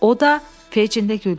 O da, Feycinlə güldülər.